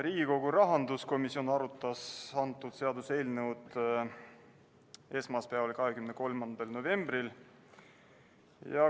Riigikogu rahanduskomisjon arutas seda seaduseelnõu esmaspäeval, 23. novembril.